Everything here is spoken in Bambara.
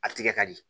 A tigɛ ka di